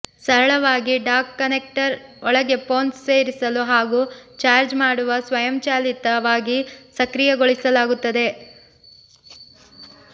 ಸರಳವಾಗಿ dock connector ಒಳಗೆ phone ಸೇರಿಸಲು ಹಾಗೂ ಚಾರ್ಜ್ ಮಾಡುವ ಸ್ವಯಂಚಾಲಿತವಾಗಿ ಸಕ್ರಿಯಗೊಳಿಸಲಾಗುತ್ತದೆ